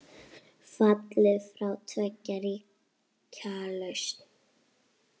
Fallið frá tveggja ríkja lausn?